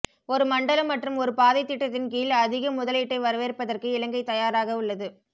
ஒரு மண்டலம் மற்றும் ஒரு பாதை திட்டத்தின் கீழ் அதிக முதலீட்டை வரவேற்பதற்கு இலங்கை தயாராக உள்ளது